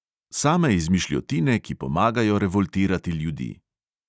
Same izmišljotine, ki pomagajo revoltirati ljudi.